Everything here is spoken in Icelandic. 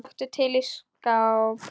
Taktu til í skáp.